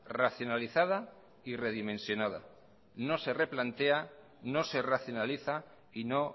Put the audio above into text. racionalizada y redimensionada no se replantea no se racionaliza y no